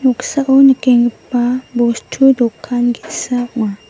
noksao nikenggipa bostu dokan ge·sa ong·a.